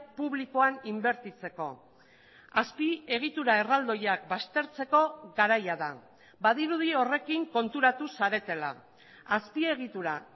publikoan inbertitzeko azpiegitura erraldoiak baztertzeko garaia da badirudi horrekin konturatu zaretela azpiegitura